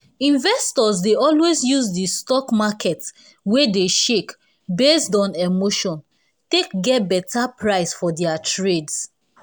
investors dey always use di stock market wey dey shake based on emotion take get betta price for dia trades